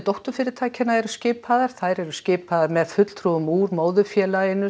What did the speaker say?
dótturfyrirtækjanna eru skipaðar þær eru skipaðar með fulltrúum úr móðurfélaginu